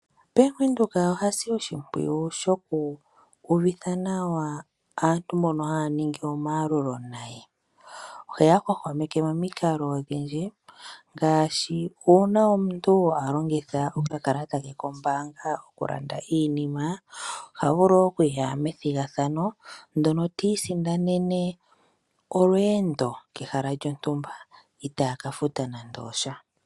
Bank Windhoek oha si oshimpwiyu aantu mboka haya ningi omayalulo naye. Oheya hwahwameke momikalo odhindji. Ngaashi uuna omuntu a longitha okakalata ke kombanga oku landa iinima. Oha vulu okuya methigathano ndyono ti isindanena olweendo kehala lyontumba. Itaaka futa nande osha.